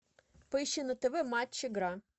поищи на тв матч игра